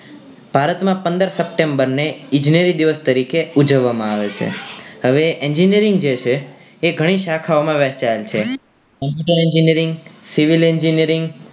ભારત માં પંદર september ને ઇjજનેરી દિવસ તરીકે ઉજવવામાં આવે છે હવે engineering જે છે એ ગણી શાખાઓ માં વેચાયેલ છે computer engineering civil engineering